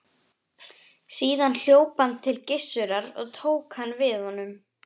Síðan hljóp hann til Gissurar og tók hann við honum.